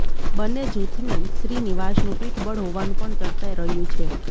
બંને જૂથને શ્રીનિવાસનનું પીઠબળ હોવાનું પણ ચર્ચાઇ રહ્યું છે